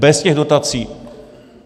Bez těch dotací.